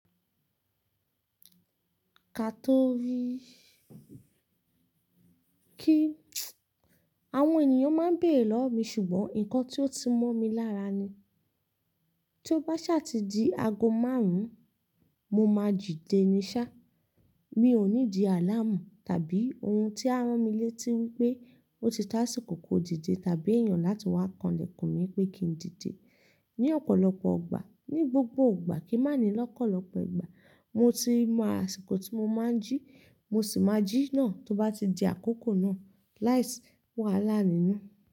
Ká tó rí kí àwọn ènìyàn máa ń bèrè lọ́wọ́ mi ṣùgbọ́n nǹkan tí ó ti mọ́ mi lára ni, tí ó bá ṣáá ti di ago márùn-ún, mo máa jì déní sá. Mi ò need aláàmù tàbí ohun tí á ran mi létí wí pé ó ti tá àsìkò kò díde tàbí èèyàn láti wá kanlẹ̀kùn mi pé kí n díde. Ní ọ̀pọ̀lọpọ̀ ogbà, ní gbogbo ọgbà, kíí má ni lọ́kọ̀ọ́lọpọ̀ igbà, mo ti mọ asiko tí mo máa jí, mo sì máa jí náà tí ó bá ti di àkókò náà. Lai si wà láà nínú.